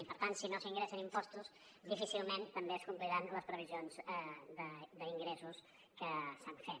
i per tant si no s’ingressen impostos difícilment també es compliran les previsions d’ingressos que s’han fet